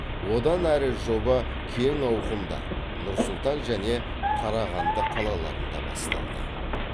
одан әрі жоба кең ауқымда нұр сұлтан және қарағанды қалаларында басталды